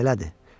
bu belədir.